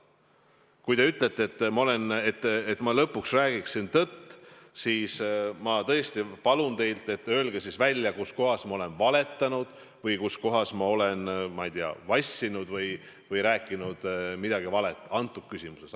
Kui te ütlete, et ma lõpuks räägiksin tõtt, siis ma tõesti palun teid: öelge siis välja, kuskohas ma olen valetanud või kuskohas ma olen vassinud või rääkinud midagi valet selles küsimuses.